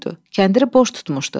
Kəndiri boş tutmuşdu.